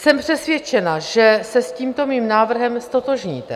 Jsem přesvědčena, že se s tímto mým návrhem ztotožníte.